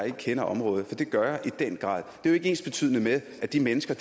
ikke kender området for det gør jeg i den grad det er ikke ensbetydende med at de mennesker